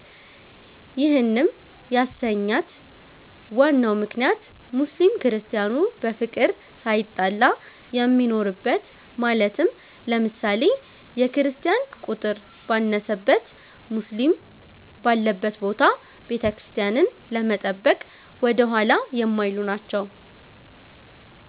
ይህንም ያሰኛት ዋናው ምክንያት ሙስሊም ክርስቲያኑ በፍቅር ሳይጣላ የሚኖርበት ማለትም ለምሳሌ፦ የክርስቲያን ቁጥር ባነሰበት ሙስሊም ባለበት ቦታ ቤተክርስቲያንን ለመጠበቅ ወደኋላ የማይሉ ናቸዉ።